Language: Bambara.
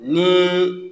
Ni